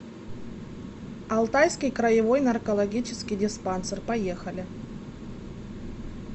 алтайский краевой наркологический диспансер поехали